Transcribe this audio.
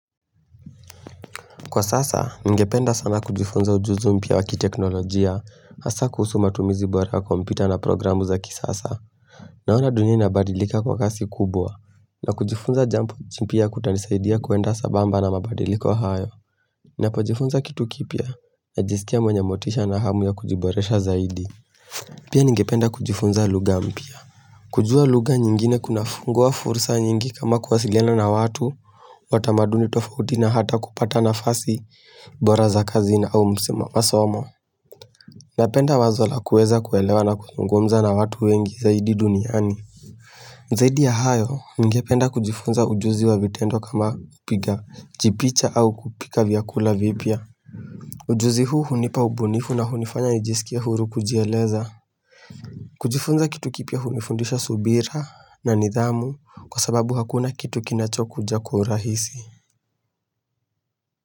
Kwa sasa, nigependa sana kujifunza ujuzu mpia wakiteknolojia, masakusu matumizi bora kompyuta na programu za kisasa. Naona dunia nabadilika kwa kasi kubwa, na kujifunza jampo chimpia kutanisaidia kuenda sabamba na mabadiliko hayo. Na pojifunza kitu kipya, na jistia mwenye motisha na hamu ya kujiboresha zaidi. Pia ningependa kujifunza lugha mpya. Kujua luga nyingine kuna fungua fursa nyingi kama kuwasilele na watu Watamaduni tofauti na hata kupata nafasi bora za kazina au msemafasa wasomo Napenda wazola kueza kuelewa na kuzungumza na watu wengi zaidi duniani Zaidi ya hayo ngependa kujifunza ujuzi wa vitendo kama upiga jipicha au kupika viakula vipia Ujuzi huu hunipa ubunifu na hunifanya nijisikia huru kujieleza kujifunza kitu kipia humifundisha subira na nidhamu kwa sababu hakuna kitu kinacho kuja kwaurahisi.